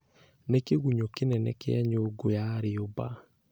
Nĩ kĩgunyũ kĩnene kĩa nyũngũ ya rĩũmba.